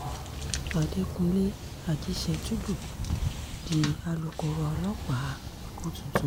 àdẹkùnlé ajíṣẹ́tùdù di alūkkóró ọlọ́pàá èkó tuntun